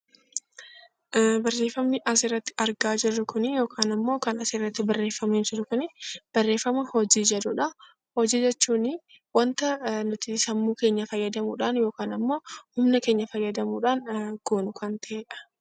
Barreeffamni as irratti argaa jirru kuni yookaan immoo kan as irratti barreeffamee jiru kuni barreeffama 'Hojii' jedhudha. Hojii jechuun wanta nuti sammuu keenya fayyadamuu dhaan yookaan ammoo humna keenya fayyadamuu dhaan goonu kan ta'e dha.